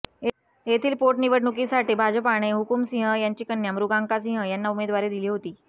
येथील पोटनिवडणुकीसाठी भाजपाने हुकूम सिंह यांची कन्या मृगांका सिंह यांना उमेदवारी दिली होती